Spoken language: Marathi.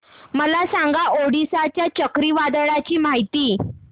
मला सांगा ओडिशा च्या चक्रीवादळाची माहिती